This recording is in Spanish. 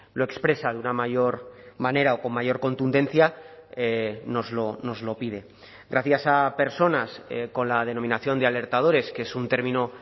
lo expresa de una mayor manera o con mayor contundencia nos lo pide gracias a personas con la denominación de alertadores que es un término